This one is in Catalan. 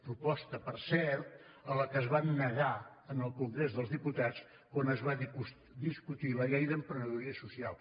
proposta per cert a la qual es van negar en el congrés dels diputats quan es va discutir la llei d’emprenedoria social